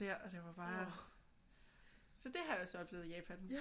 Der og det var bare så det har jeg så oplevet i Japan